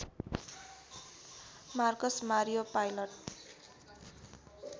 Marcus Mario pilot